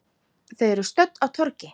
Þau eru stödd á torgi.